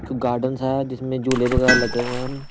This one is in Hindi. गार्डनस है जिसमें झूले वगैरह लगे हुए हैं हम--